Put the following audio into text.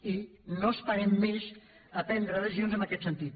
i no esperem més a prendre decisions en aquest sentit